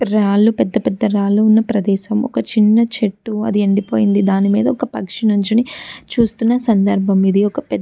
రాళ్ళూ పెద్ద పెద్ద రాళ్ళూ ఉన్న ప్రదేశం ఒక చిన్న చేటు అది ఎండిపోయింది దాని మీద ఒక పక్షి నుంచోని చూస్తున్న సందర్బ్బం ఇది ఒక --